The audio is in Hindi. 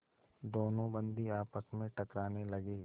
दोनों बंदी आपस में टकराने लगे